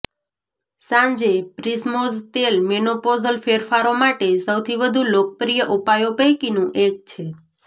સાંજે પ્રિસ્મોઝ તેલ મેનોપોઝલ ફેરફારો માટે સૌથી વધુ લોકપ્રિય ઉપાયો પૈકીનું એક છે